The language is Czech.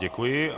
Děkuji.